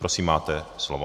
Prosím, máte slovo.